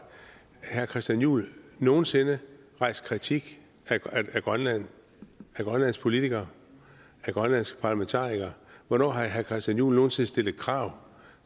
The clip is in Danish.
herre christian juhl nogen sinde rejst kritik af grønland af grønlands politikere af grønlandske parlamentarikere hvornår har herre christian juhl nogen sinde stillet krav